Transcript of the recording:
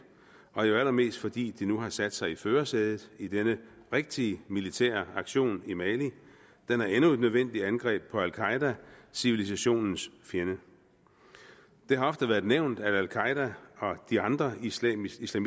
og allermest fordi de nu har sat sig i førersædet i den rigtige militære aktion i mali den er endnu et nødvendigt angreb på al qaeda civilisationens fjende der ofte været nævnt at al qaeda og de andre islamistiske